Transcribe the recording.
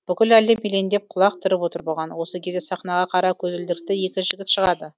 бүкіл әлем елеңдеп құлақ түріп отыр бұған осы кезде сахнаға қара көзілдірікті екі жігіт шығады